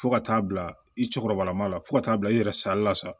Fo ka taa bila i cɛkɔrɔba ma la fo ka taa bila i yɛrɛ sali la sa